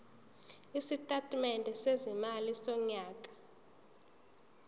isitatimende sezimali sonyaka